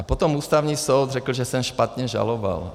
A potom Ústavní soud řekl, že jsem špatně žaloval.